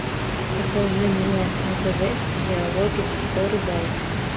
покажи мне на тв диалоги о рыбалке